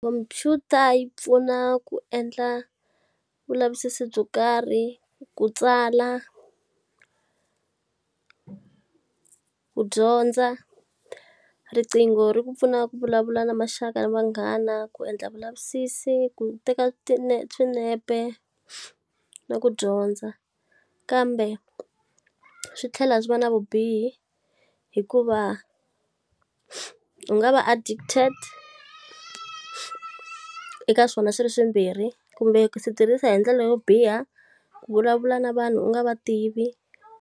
khomphyuta yi pfuna ku endla vulavisisi byo kari,, ku tsala ku dyondza. Riqingho ri ku pfuna ku vulavula na maxaka na vanghana, ku endla vulavisisi, ku teka swinepe na ku dyondza. Kambe swi tlhela swi va na vubihi hikuva, u nga va addicted eka swona swi ri swimbirhi. Kumbe ku swi tirhisa hi ndlela yo biha, ku vulavula na vanhu u nga va tivi.